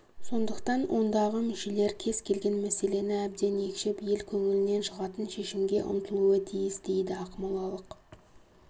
сондықтан ондағы мүшелер кез келген мәселені әбден екшеп ел көңілінен шығатын шешімге ұмтылуы тиіс дейді ақмолалық